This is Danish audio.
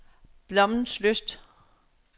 Blommenslyst